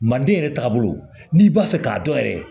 Maliden yɛrɛ taabolo n'i b'a fɛ k'a dɔn yɛrɛ